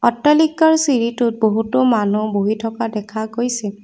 অট্টালিকাৰ চিৰিটোত বহুতো মানুহ বহি থকা দেখা গৈছে।